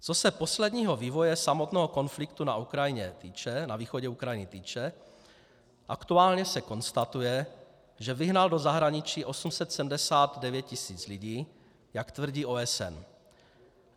Co se posledního vývoje samotného konfliktu na východě Ukrajiny týče, aktuálně se konstatuje, že vyhnal do zahraničí 879 tisíc lidí, jak tvrdí OSN.